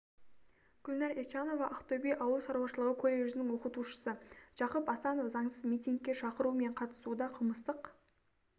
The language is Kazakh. гүлнар ещанова ақтөбе ауыл шаруашылығы колледжінің оқытушысы жақып асанов заңсыз митингіге шақыру мен қатысу да қылмыстық